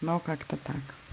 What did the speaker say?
но как-то так